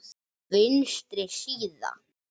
Vinstri síða